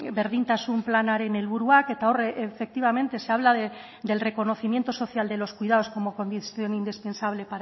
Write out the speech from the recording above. berdintasun planaren helburuak eta efectivamente se habla del reconocimiento social de los cuidados como condición indispensable